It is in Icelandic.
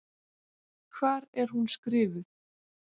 Hvar er hún skrifuð?